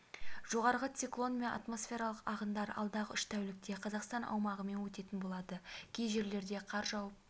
жоғарғы циклон мен атмосфералық ағындар алдағы үш тәулікте қазақстан аумағымен өтетін болады кей жерлерде қар жауып